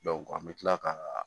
an bɛ tila ka